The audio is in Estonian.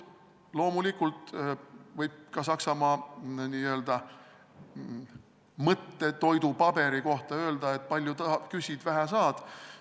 Loomulikult võib ka Saksamaa n-ö mõttetoidupaberi kohta öelda, et palju küsid, vähe saad.